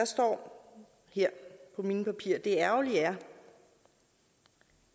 står her i mine papirer det ærgerlige